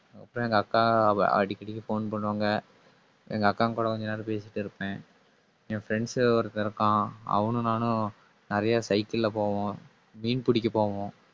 அப்புறம் எங்க அக்கா அவ அடிக்கடி phone பண்ணுவாங்க. எங்க அக்கா கூட கொஞ்ச நேரம் பேசிட்டு இருப்பேன். என் friends ஒருத்தன் இருக்கான். அவனும் நானும் நிறைய சைக்கிள்ல போவோம். மீன் பிடிக்க போவோம்